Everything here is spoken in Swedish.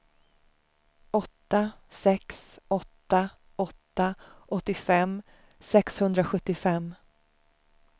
åtta sex åtta åtta åttiofem sexhundrasjuttiofem